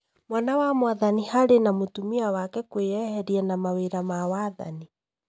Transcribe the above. Mwana wa mwathani Harry na mũtumia wake kwĩyeheria na mawĩra ma wathani